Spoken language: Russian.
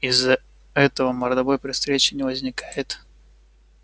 из-за этого мордобой при встрече не возникает